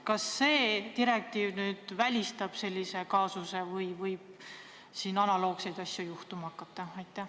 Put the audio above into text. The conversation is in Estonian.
Kas see direktiiv välistab sellise kaasuse või võib analoogseid asju juhtuma hakata?